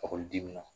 Ekɔliden min na